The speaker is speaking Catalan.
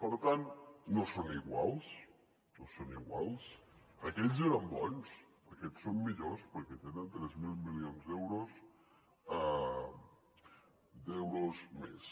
per tant no són iguals no són iguals aquells eren bons aquests són millors perquè tenen tres mil milions d’euros més